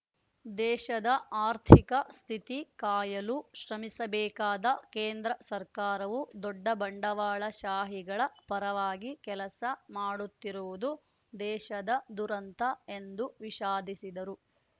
ದೇಶದ ಆರ್ಥಿಕ ಸ್ಥಿತಿ ಕಾಯಲು ಶ್ರಮಿಸಬೇಕಾದ ಕೇಂದ್ರ ಸರ್ಕಾರವು ದೊಡ್ಡ ಬಂಡವಾಳ ಶಾಹಿಗಳ ಪರವಾಗಿ ಕೆಲಸ ಮಾಡುತ್ತಿರುವುದು ದೇಶದ ದುರಂತ ಎಂದು ವಿಷಾದಿಸಿದರು